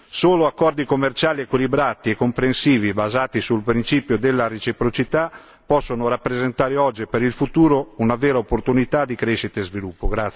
Solo accordi commerciali equilibrati e comprensivi basati sul principio della reciprocità possono rappresentare oggi per il futuro una vera opportunità di crescita e sviluppo.